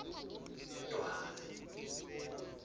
yedwarha